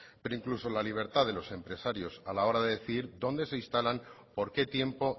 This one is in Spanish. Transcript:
pero incluso la libertad de los empresarios a la hora de decidir dónde se instalan por qué tiempo